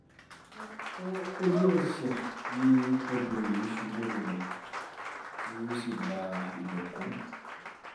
ojúẹsẹ̀ ni obìnrin yìí ṣubú lulẹ̀ ti ó sì gba ibẹ̀ kú